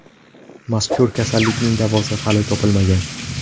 Mazkur kasallikning davosi hali topilmagan.